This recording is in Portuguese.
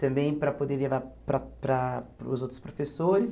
também para poder levar para para para os outros professores.